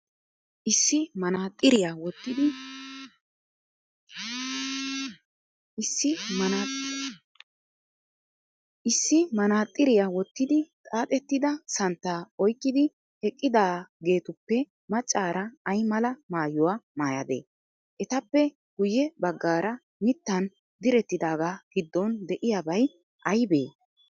Issi manaxiriya wottidi xaaxettida santtaa oyqqidi eqqidaageetuppe maccaara ay mala maayuwa mayadee? Etappe guyye baggaara mittan direttidaagaa giddon de"iyaaabay aybee?